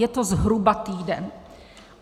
Je to zhruba týden.